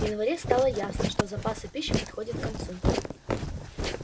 в январе стало ясно что запасы пищи подходят к концу